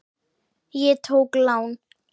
Ég tók lán.